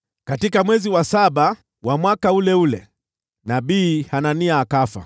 Katika mwezi wa saba wa mwaka ule ule, nabii Hanania akafa.